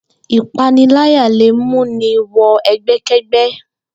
Ìpániláyà lè mú ni wo̩ e̩gbé̩ké̩gbé̩